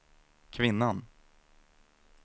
kvinnan